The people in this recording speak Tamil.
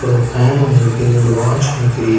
அப்பறோ ஒரு ஃபேன் ஒன்னு இருக்கு ஒரு வாட்ச் ஒன்னு தெரிது.